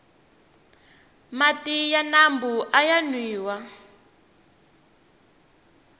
mati ya mambu aya nwiwa